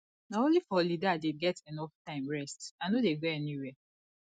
na only for holiday i dey get enough time rest i no dey go anywhere